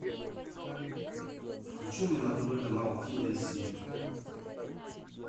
включи мне на тв канал ти эль си